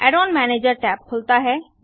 Aiden manager tab खुलता है